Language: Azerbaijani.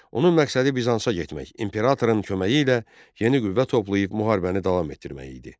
Onun məqsədi Bizansa getmək, imperatorun köməyi ilə yeni qüvvə toplayıb müharibəni davam etdirmək idi.